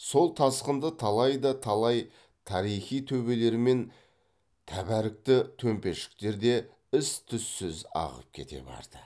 сол тасқында талай да талай тарихи төбелер мен тәбәрікті төмпешіктер де із түзсіз ағып кете барды